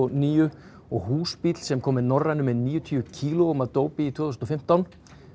níu og húsbíll sem kom með Norrænu með níutíu kílóum af dópi tvö þúsund og fimmtán